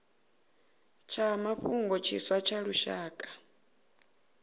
tsha mafhungo tshiswa tsha lushaka